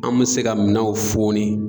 An bɛ se ka minanw fɔ ni.